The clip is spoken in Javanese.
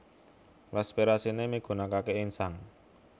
Respirasiné migunakaké insang